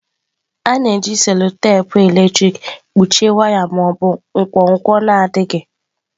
A na-eji cello-tepe eletrik kpuchie waya ma ọ bụ nkwonkwo na-adịghị.